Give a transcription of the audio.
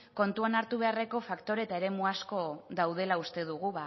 kontuan hartu beharreko faktore eta eremu asko daudela uste dugu